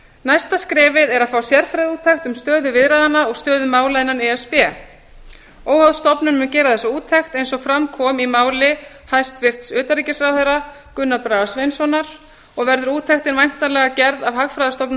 næsta skrefið er að fá sérfræðiúttekt um stöðu viðræðnanna og stöðu mála innan e s b óháð stofnun mun gera þessa úttekt eins og fram kom í máli hæstvirts utanríkisráðherra gunnars braga sveinssonar og verður úttektin væntanlega gerð af hagfræðistofnun